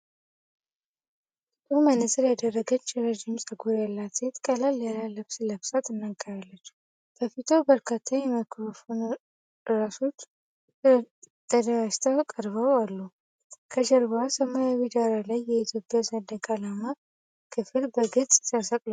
ጥቁር መነጽር ያደረገችው ረዥም ፀጉር ያላት ሴት ቀለል ያለ ልብስ ለብሳ ትናገራለች። በፊቷ በርካታ የማይክሮፎን ራሶች ተደራጅተው ቀርበው አሉ። ከጀርባዋ ሰማያዊ ዳራ ላይ የኢትዮጵያ ሰንደቅ ዓላማ ክፍል በግልጽ ተሰቅሏል።